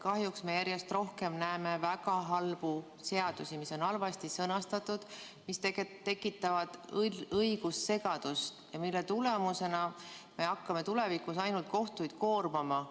Kahjuks me järjest rohkem näeme väga halbu seadusi, mis on halvasti sõnastatud, mis tegelikult tekitavad õigussegadust ja mille tulemusena me hakkame tulevikus ainult kohtuid koormama.